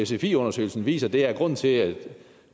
sfi undersøgelsen viser er at grunden til at